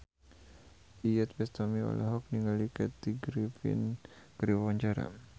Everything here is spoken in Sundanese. Iyeth Bustami olohok ningali Kathy Griffin keur diwawancara